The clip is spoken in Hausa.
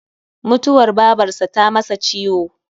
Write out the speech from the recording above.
Mutuwar babarsa ta masa ciwo